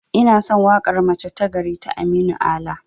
Inason waƙar 'mace ta gari' ta aminu ala